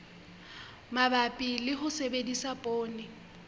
mabapi le ho sebedisa poone